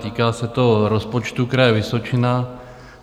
Týká se to rozpočtu Kraje Vysočina.